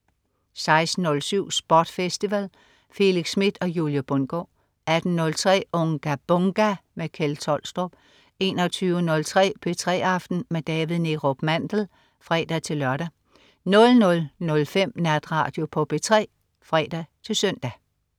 16.07 SPOT Festival. Felix Smith og Julie Bundgaard 18.03 Unga Bunga! Kjeld Tolstrup 21.03 P3 aften med David Neerup Mandel (fre-lør) 00.05 Natradio på P3 (fre-søn)